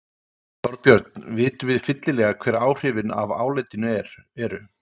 Þorbjörn, vitum við fyllilega hver áhrifin af álitinu eru?